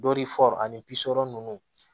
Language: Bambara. Dɔri ani ninnu